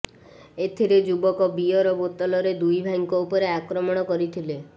ଏଥିରେ ଯୁବକ ବିଅର ବୋତଲରେ ଦୁଇ ଭାଇଙ୍କ ଉପରେ ଆକ୍ରମଣ କରିଥିଲେ